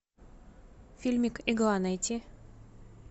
фильмик игла найти